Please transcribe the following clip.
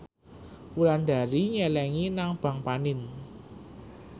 Wulandari nyelengi nang bank panin